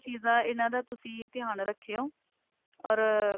ਚੀਜਾਂ ਇਹਨਾ ਦਾ ਤੁਸੀਂ ਧਿਆਨ ਰੱਖੀਓ or